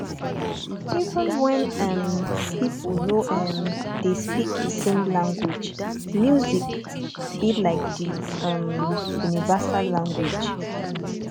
even when um pipo no um dey speak di same language music be like di um um universal language